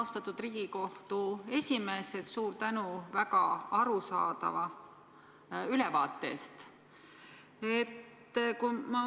Austatud Riigikohtu esimees, suur tänu väga arusaadava ülevaate eest!